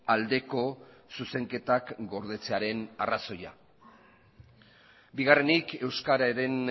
aldeko zuzenketak gordetzearen arrazoia bigarrenik euskararen